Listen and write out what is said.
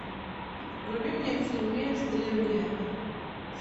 вруби мне фильмец древние